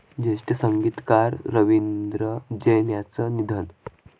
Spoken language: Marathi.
ज्येष्ठ संगीतकार रवींद्र जैन यांचं निधन